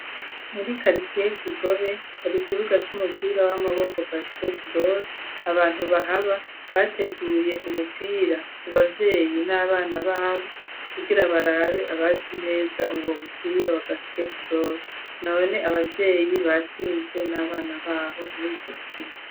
Muri karitiye kigobe hari ikibuga c'umupira w'amaboko basketball abantu bahaba bateguye umupira ku bavyeyi n'abana babo kugira barabe abazi neza ungo umupira wa basketball none abavyeyi batsinzwe n'abana babo .